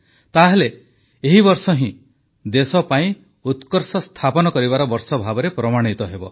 ତାହେଲେ ଏହି ବର୍ଷ ହିଁ ଦେଶ ପାଇଁ ଉତ୍କର୍ଷ ସ୍ଥାପନ କରିବାର ବର୍ଷ ଭାବରେ ପ୍ରମାଣିତ ହେବ